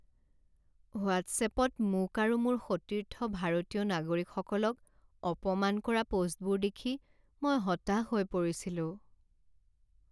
হোৱাট্ছএপত মোক আৰু মোৰ সতীৰ্থ ভাৰতীয় নাগৰিকসকলক অপমান কৰা প'ষ্টবোৰ দেখি মই হতাশ হৈ পৰিছিলোঁ।